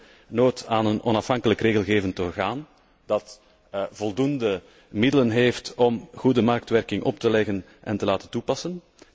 We hebben behoefte aan een onafhankelijk regelgevend orgaan dat voldoende middelen heeft om goede marktwerking op te leggen en te doen toepassen.